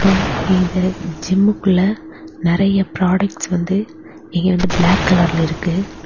இது ஜிம்முக்குள்ள நிறைய ப்ராடக்ட்ஸ் வந்து இங்கு வந்து பிளாக் கலர்ல இருக்கு.